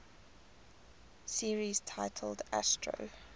series titled astro